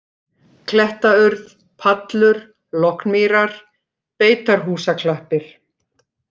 Klettaurð, Pallur, Lognmýrar, Beitarhúsaklappir